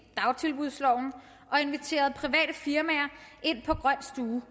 dagtilbudsloven og inviterede private firmaer ind på grøn stue